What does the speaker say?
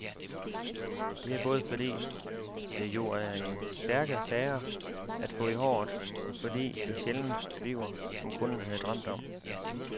Det er både fordi, det jo er stærke sager at få i håret, og fordi det sjældent bliver, som kunden havde drømt om.